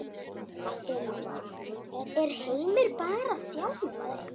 Ylfa: Er Heimir bara þjálfari?